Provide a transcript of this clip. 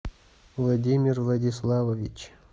владимир владиславович